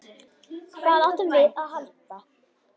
Hvað áttum við að halda?